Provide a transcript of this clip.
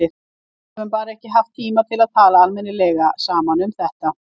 Við höfum bara ekki haft tíma til að tala almennilega saman um þetta.